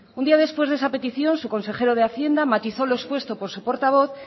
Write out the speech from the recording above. un día después de esa petición su consejero de hacienda matizó lo expuesto por su portavoz